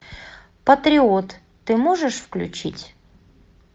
патриот ты можешь включить